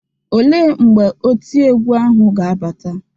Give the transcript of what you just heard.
Olee mgbe oti egwu ahụ ga-abata?